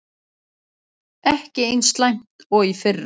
Ekki eins slæmt og í fyrra